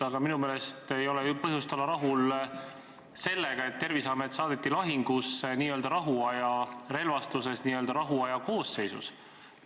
Aga minu meelest ei ole põhjust olla rahul sellega, et Terviseamet saadeti lahingusse n-ö rahuaja relvastuses ja n-ö rahuaja koosseisus.